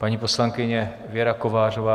Paní poslankyně Věra Kovářová.